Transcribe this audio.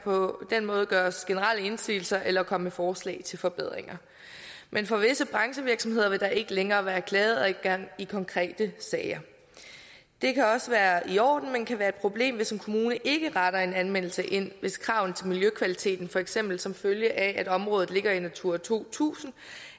på den måde gøres generelle indsigelser eller kommes med forslag til forbedringer men for visse branchevirksomheder vil der ikke længere være klageadgang i konkrete sager det kan også være i orden men kan være et problem hvis en kommune ikke retter en anmeldelse ind hvis kravene til miljøkvaliteten for eksempel som følge af at området ligger i et natura to tusind